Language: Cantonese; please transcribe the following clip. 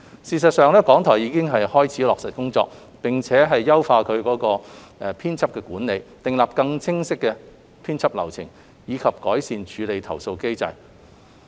事實上，港台已開始落實工作，並且優化其編輯管理，訂立更清晰編輯流程，以及改善處理投訴機制。